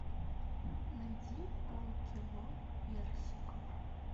найди полкило персиков